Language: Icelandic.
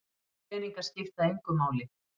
Peningar skipta engu máli